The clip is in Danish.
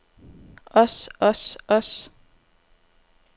os os os